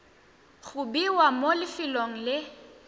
go bewa mo lefelong le